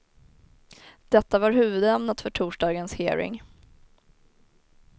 Detta var huvudämnet för torsdagens hearing.